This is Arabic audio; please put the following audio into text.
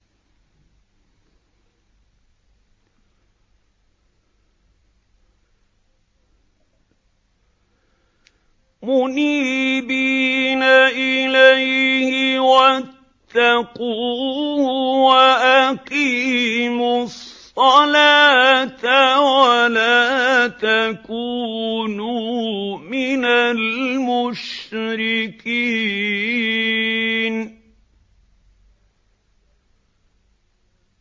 ۞ مُنِيبِينَ إِلَيْهِ وَاتَّقُوهُ وَأَقِيمُوا الصَّلَاةَ وَلَا تَكُونُوا مِنَ الْمُشْرِكِينَ